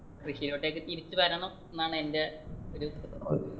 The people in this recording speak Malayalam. കൃഷിയിലോട്ടെക്ക് തിരിച്ചു വരണം എന്നാണ് എന്റെ ഒരു